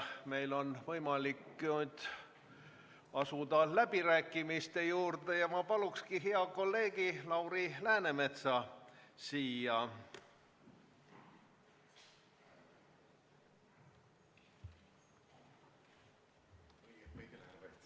Meil on võimalik asuda läbirääkimiste juurde ja ma palungi hea kolleegi Lauri Läänemetsa kõnepulti.